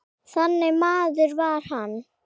Þannig maður var hann.